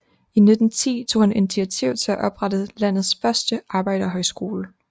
I 1910 tog han initiativ til at oprettes landets første arbejderhøjskole